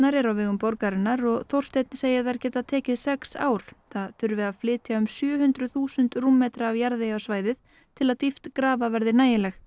eru á vegum borgarinnar og Þórsteinn segir þær geta tekið sex ár það þurfi að flytja um sjö hundruð þúsund rúmmetra af jarðvegi á svæðið til að dýpt grafa verði nægileg